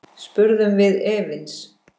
spurðum við efins.